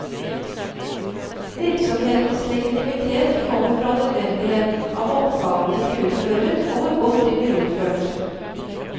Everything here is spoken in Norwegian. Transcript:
Virksomhetens legitimitet kommer fra nødvendigheten av oppgavene de utfører, og hvor godt de blir utført.